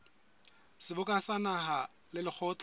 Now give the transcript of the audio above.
seboka sa naha le lekgotla